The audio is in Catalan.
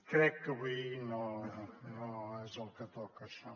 crec que avui no és el que toca això